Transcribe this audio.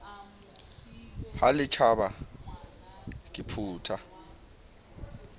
ha le tjhaba ke phutha